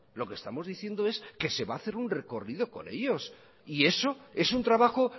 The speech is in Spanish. lo que estamos diciendo que se va hacer un recorrido con ellos y eso es un trabajo